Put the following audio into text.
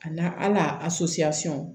A n'a ala